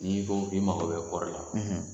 N'i ko k'i mago bɛ kɔɔri la